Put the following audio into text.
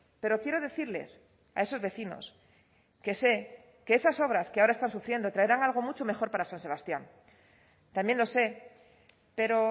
pero quiero decirles a esos vecinos que sé que esas obras que ahora están sufriendo traerán algo mucho mejor para san sebastián también lo sé pero